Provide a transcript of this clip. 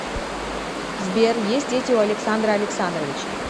сбер есть дети у александра александровича